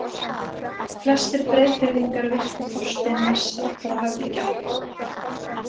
Flestir Breiðfirðingar virtu Þorstein mest allra höfðingja.